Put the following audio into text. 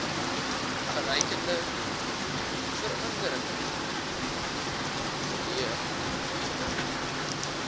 verreikende veranderinge teweegbring